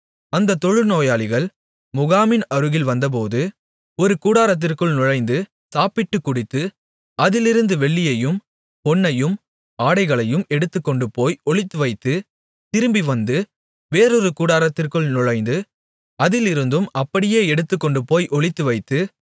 அந்தத் தொழுநோயாளிகள் முகாமின் அருகில் வந்தபோது ஒரு கூடாரத்திற்குள் நுழைந்து சாப்பிட்டுக் குடித்து அதிலிருந்த வெள்ளியையும் பொன்னையும் ஆடைகளையும் எடுத்துக்கொண்டுபோய் ஒளித்துவைத்து திரும்பிவந்து வேறொரு கூடாரத்திற்குள் நுழைந்து அதிலிருந்தும் அப்படியே எடுத்துக்கொண்டுபோய் ஒளித்துவைத்து